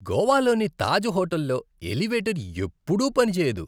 గోవాలోని తాజ్ హోటల్లో ఎలివేటర్ ఎప్పుడూ పనిచేయదు.